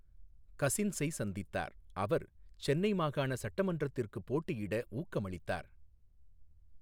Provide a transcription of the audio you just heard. கசின்ஸை சந்தித்தார், அவர் சென்னை மாகாண சட்டமன்றத்திற்கு போட்டியிட ஊக்கமளித்தார்.